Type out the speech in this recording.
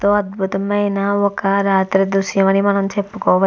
ఎంతో అద్భుతమైన ఒక రాత్రి దృశ్యం అని మనం చెప్పుకోవ --